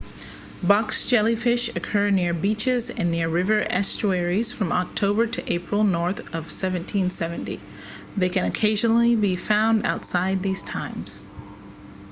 box jellyfish occur near beaches and near river estuaries from october to april north of 1770 they can occasionally be found outside these times